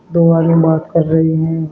दो आदमी बात कर रहे हैं।